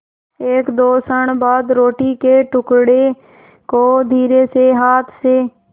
एकदो क्षण बाद रोटी के टुकड़े को धीरेसे हाथ से